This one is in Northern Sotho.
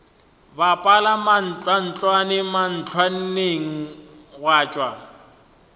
bapala mantlwantlwane mantlwantlwaneng gwa tšwa